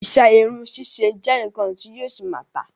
Iṣẹ́ irun ṣíṣe ṣì jẹ́ nnkan ti yóò ṣì máa tà.